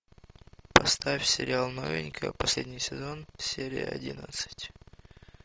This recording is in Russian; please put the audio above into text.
поставь сериал новенькая последний сезон серия одиннадцать